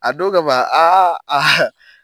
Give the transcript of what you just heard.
A don kama